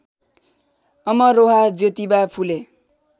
Amroha Jyotiba Phule